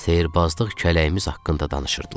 Sehrbazlıq kələyimiz haqda danışırdılar.